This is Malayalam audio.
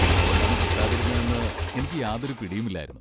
എന്തുകൊണ്ടാണ് കിട്ടാതിരുന്നതെന്ന് എനിക്ക് യാതൊരു പിടിയുമില്ലായിരുന്നു.